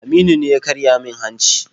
Aminu ne ya karya min hanci.